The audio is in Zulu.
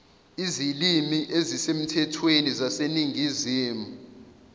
izilimi ezisemthethweni zaseningizimu